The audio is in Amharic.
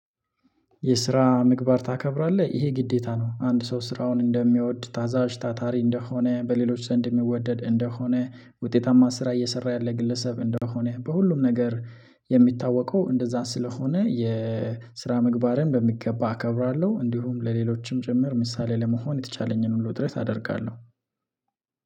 የስራ ምግባር ታከብራለህ ይሄ ግዴታ ነው አንድ ሰው ስራውን እንደሚወድ ታዛዥ ታታሪ እንደሆነ በሌሎች ዘንድ የሚወደድ እንደሆነ ውጤታማ ስራ እየሰራ ያለ ግለሰብ እንደሆነ በሁሉም ነገር የሚታወቀው እንደዛ ስለሆነ የስራ ምግባሬን በሚገባ አከብራለሁ እንዲሁም ለሌሎችም ጭምር ምሳሌ ለመሆን የተቻለኝን ሁሉ ጥረት አደርጋለሁ